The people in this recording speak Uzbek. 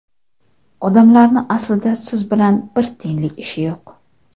Odamlarni aslida siz bilan bir tiyinlik ishi yo‘q.